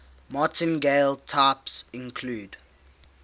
martingale types include